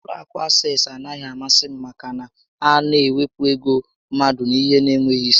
Ụlọ akụ Access anaghị amasị m maka na ha na ewepụ ego mmadụ n'ihe n'enweghị isi